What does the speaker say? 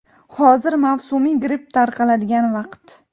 Hozir mavsumiy gripp tarqaladigan vaqt.